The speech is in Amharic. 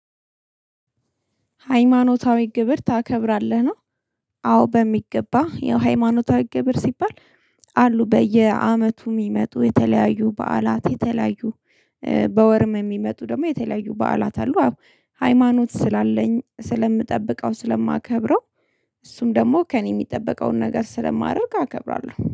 ሃይማኖታዊ ግብር ታከብራለህ ነው። አዎ በሚገባ ያው የሃይማኖታዊ ግብር ሲባል። አሉ በየአመቱ የሚመጡ የተለያዩ በዓላት የተለያዩ በወርም የሚመጡ ደግሞ የተለያዩ በዓላት አሉ። አዎ ሃይማኖት ስላለኝ ስለምጠብቀው ስለማከብረው። እሱም ደግሞ ከእኔ የሚጠበቀውን ነገር ስለማደርግ አከብራለሁ